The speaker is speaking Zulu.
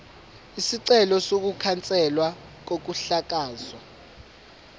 isicelo sokukhanselwa kokuhlakazwa